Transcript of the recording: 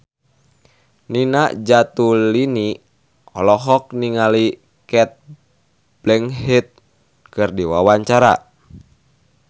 Nina Zatulini olohok ningali Cate Blanchett keur diwawancara